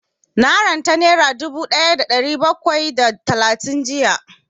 Na ranta nera dubu ɗaya da ɗari bakwai da talatin jiya